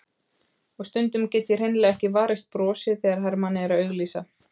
Og stundum get ég hreinlega ekki varist brosi þegar Hermann er að auglýsa.